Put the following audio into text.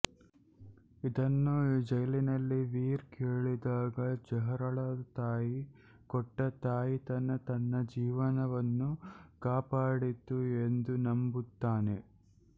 ಇದನ್ನು ಜೈಲಿನಲ್ಲಿ ವೀರ್ ಕೇಳಿದಾಗ ಜ಼ಾರಾಳ ತಾಯಿ ಕೊಟ್ಟ ತಾಯಿತವೇ ತನ್ನ ಜೀವವನ್ನು ಕಾಪಡಿತು ಎಂದು ನಂಬುತ್ತಾನೆ